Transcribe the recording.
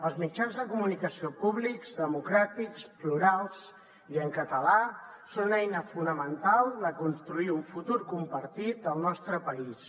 els mitjans de comunicació públics democràtics plurals i en català són una eina fonamental per construir un futur compartit al nostre país